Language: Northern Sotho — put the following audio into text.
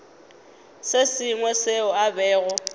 se sengwe seo a bego